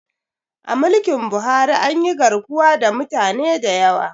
A mulkin Buhari anyi garkuwa da mutane da yawa